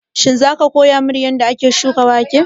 Shin za ka koya min yanda ake shuka wake?